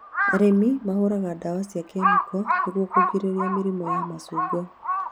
Arĩmi mahũraga ndawa cia kemiko nĩguo kũgirĩrĩria mĩrimũ ya macungwa